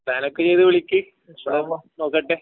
പ്ലാനൊക്കെ ചെയ്ത് വിളിക്ക് ഇൻശാ അല്ലാഹ് നോക്കട്ടെ